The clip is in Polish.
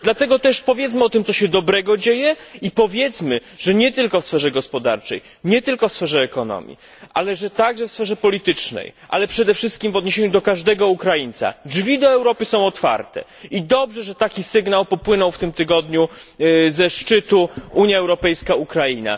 Dlatego powiedzmy, co się tam dobrego dzieje i że nie tylko w sferze gospodarczej, w sferze ekonomii, ale także w sferze politycznej i przede wszystkim w odniesieniu do każdego Ukraińca, drzwi do Europy są otwarte i dobrze, że taki sygnał popłynął w tym tygodniu ze szczytu Unia Europejska Ukraina.